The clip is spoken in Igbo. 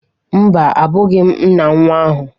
Mba, abụghị m nna nwa ahụ.